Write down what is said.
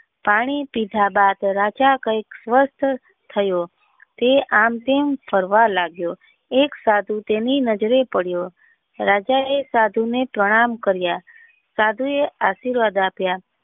પાણી પીધા બાદ રાજા કૈક સ્વસ્થ થયો તે આમ તેમ ફરવા લાગ્યો એક સાધુ તેની નજરે પડ્યો રાજા એ સાધુ ને પ્રણામ કર્યા સાધુ એ આશીર્વાદ આપ્યા.